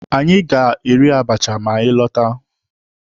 Anyị ga-eri abacha ma anyị lọta.